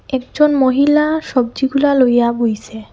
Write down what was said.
একজন মহিলা সবজিগুলা লইয়া বইসে।